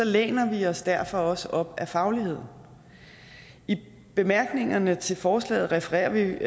læner vi os derfor også op ad fagligheden i bemærkningerne til forslaget refererer vi